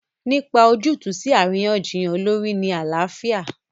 Nípa ojútùú sí àríyànjiyàn olórí ní àlàáfíà.